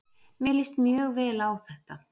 Mér líst mjög vel á þetta